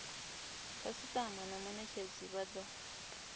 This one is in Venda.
khasitama na munetshedzi vha do